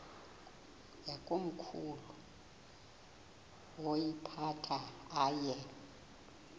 yakomkhulu woyiphatha aye